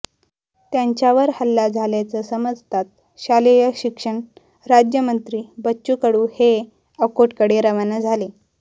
त्यांच्यावर हल्ला झाल्याचं समजताच शालेय शिक्षण राज्यमंत्री बच्चू कडू हे अकोटकडे रवाना झाले